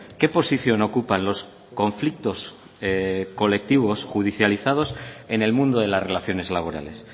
qué posición ocupan los conflictos colectivos judicializados en el mundo de las relaciones laborales